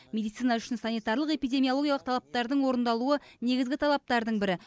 медицина үшін санитарлық эпидемиологиялық талаптардың орындалуы негізгі талаптардың бірі